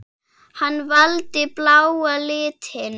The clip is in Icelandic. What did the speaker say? Hann valdi bláa litinn.